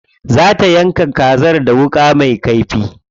Za ta yanka kazar da wuƙa me kaifi.